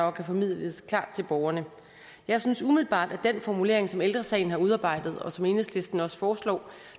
og kan formidles klart til borgerne jeg synes umiddelbart at den formulering som ældre sagen har udarbejdet og som enhedslisten også foreslår